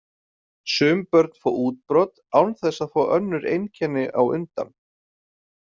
Sum börn fá útbrot án þess að fá önnur einkenni á undan.